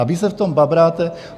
A vy se v tom babráte.